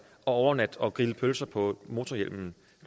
og overnatte og grille pølser på